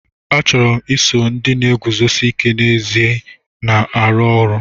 Achọrọ m iso ndị na-eguzosi ike n'ezi na-arụ ọrụ.